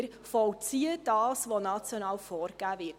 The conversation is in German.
Wir vollziehen das, was national vorgegeben wird.